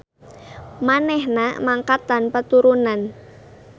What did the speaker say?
Manehna mangkat tanpa turunan.